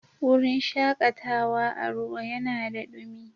Wurin shakatawa a ruwa yanada dumi.